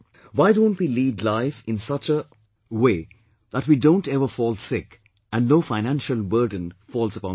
Why can't we lead life in such a way that we don't ever fall sick and no financial burden falls upon the family